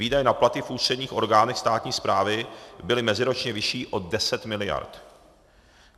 Výdaje na platy v ústředních orgánech státní správy byly meziročně vyšší o 10 miliard.